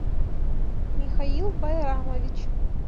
михаил байрамович